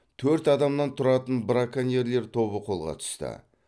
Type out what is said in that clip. төрт адамнан тұратын браконьерлер тобы қолға түсті